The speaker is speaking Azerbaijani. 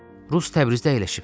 Rus Təbrizdə əyləşib.